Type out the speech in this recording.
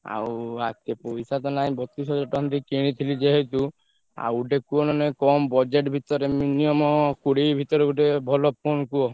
ଆଉ ହାତେ ପଇସା ତ ନାଇଁ ବତିଶ୍ ହାଜ଼ାର୍ ଟଙ୍କା ଦେଇ କିନିଥିଲି ଯେହେତୁ ଆଉ ଗୋଟେ କୁହ ନହେଲେ ନାଈ କମ୍ budget ଭିତରେ minimum କୋଡିଏ ଭିତରେ ଗୋଟେ ଭଲ phone କୁହ।